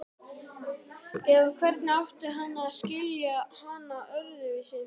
Eða hvernig átti hann að skilja hana öðruvísi?